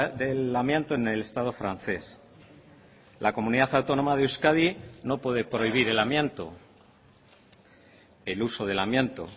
del amianto en el estado francés la comunidad autónoma de euskadi no puede prohibir el amianto el uso del amianto